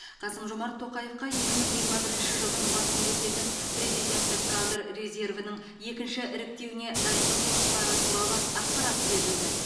қасым жомарт тоқаевқа екі мың жиырма бірінші жылдың басында өтетін президенттік кадр резервінің екінші іріктеуіне дайындық жұмыстары туралы ақпарат берілді